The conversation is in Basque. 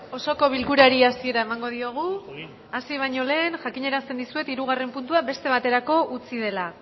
osoko bilkurari hasiera emango diogu hasi baino lehen jakinarazten dizuet hirugarren puntua beste baterako utzi dela